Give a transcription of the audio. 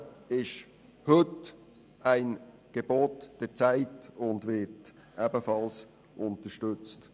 Das Vorermittlungsverfahren ist heute ein Gebot der Zeit und wird ebenfalls unterstützt.